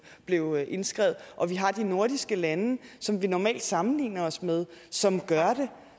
blev indskrevet og vi har de nordiske lande som vi normalt sammenligner os med som gør det